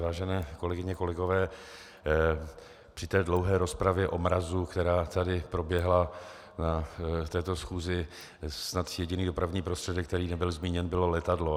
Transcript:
Vážené kolegyně, kolegové, při té dlouhé rozpravě o mrazu, která tady proběhla na této schůzi, snad jediný dopravní prostředek, který nebyl zmíněn, bylo letadlo.